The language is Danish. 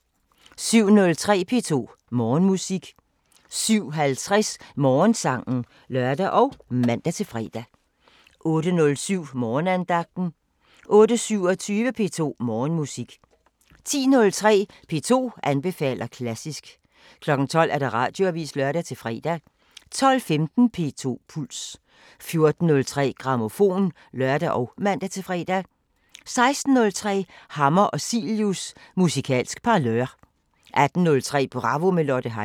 07:03: P2 Morgenmusik 07:50: Morgensangen (lør og man-fre) 08:07: Morgenandagten 08:27: P2 Morgenmusik 10:03: P2 anbefaler klassisk 12:00: Radioavisen (lør-fre) 12:15: P2 Puls 14:03: Grammofon (lør og man-fre) 16:03: Hammer og Cilius – Musikalsk parlør 18:03: Bravo – med Lotte Heise